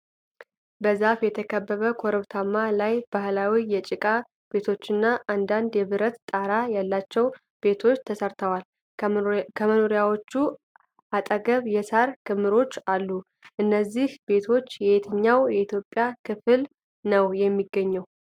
በዛፍ የተከበበ ኮረብታ ላይ ባህላዊ የጭቃ ቤቶችና አንዳንድ የብረት ጣራ ያላቸው ቤቶች ተሰራርተዋል ። ከመኖሪያዎቹ አጠገብ የሳር ክምሮች አሉ ። እነዚህ ቤቶች የትኛው የኢትዮጵያ ክፍል ነው የሚገኘው?